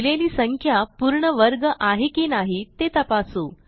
दिलेली संख्या पूर्ण वर्ग आहे की नाही ते तपासू